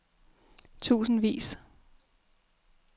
tusindvis